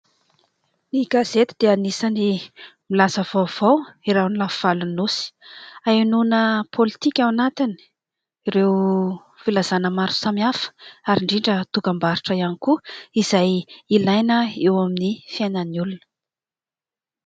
Ny gazety dia anisany milaza vaovao eran'ny lafy valon'ny nosy hahenoina pôlitika ao anatiny, ireo filazana maro samihafa ary indrindra dokam-barotra ihany koa izay ilaina eo amin'ny fiainan'ny olona.